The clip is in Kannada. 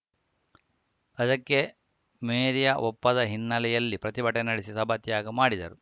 ಅದಕ್ಕೆ ಮೇರ್ಯಾ ಒಪ್ಪದ ಹಿನ್ನೆಲೆಯಲ್ಲಿ ಪ್ರತಿಭಟನೆ ನಡೆಸಿ ಸಭಾತ್ಯಾಗ ಮಾಡಿದರು